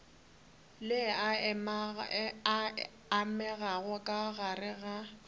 le amegago ka gare ga